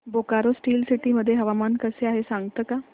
Bokaro Steel City मध्ये हवामान कसे आहे सांगता का